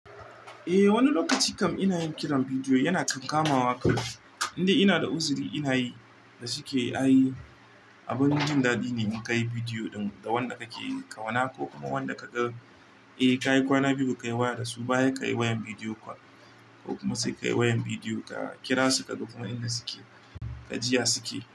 Eh wani lokaci kam ina yin kiran bidiyo yana kan kamawa ka, inda ina da uzuri ina yi da suke a yi. Abun jin daɗi ne in ka yi bidiyo ɗin da wanda ka ke kawona ko kuma wanda ka ga. Eh ka yi kwana biyu ba ka yi waya da su ba, ya ka yi wayan bidiyo ko kuma sai ka yi wayan bidiyo ka kira su ka ga kuma inda suke, ka jiy a suke.